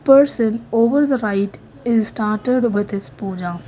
Person over the right is started with his puja.